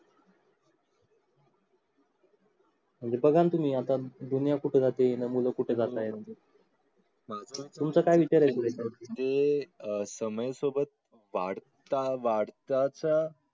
म्हणजे बगा ना तुम्ही आता दुनिया कुठे जाते आणि मुलं कुठं जात आहेत. तुमचा काय विचार आहे? म्हणजे समय सोबत वाढत वाढता चा